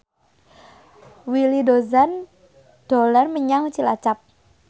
Willy Dozan dolan menyang Cilacap